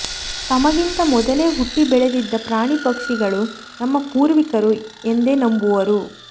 ತಮಗಿಂತ ಮೊದಲೆ ಹುಟ್ಟಿ ಬೆಳೆದಿದ್ದ ಪ್ರಾಣಿಪಕ್ಷಿಗಳು ನಮ್ಮ ಪೂರ್ವಿಕರು ಎಂದೇ ನಂಬುವರು